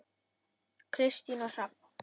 Kristín og Hrafn.